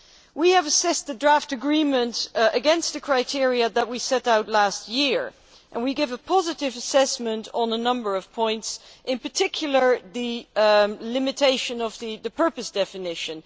We have assessed the draft agreement against the criteria that we set out last year and given a positive assessment on a number of points, in particular the limitation of the purpose' definition.